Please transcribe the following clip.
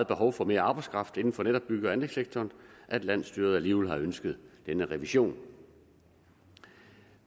behov for mere arbejdskraft inden for netop bygge og anlægssektoren at landsstyret alligevel har ønsket denne revision